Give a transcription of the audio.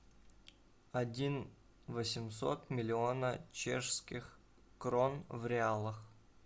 один восемьсот миллиона чешских крон в реалах